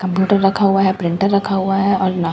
Computer रखा हुआ है। प्रिंटर रखा हुआ है और--